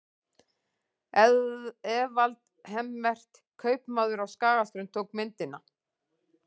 Evald Hemmert, kaupmaður á Skagaströnd, tók myndina.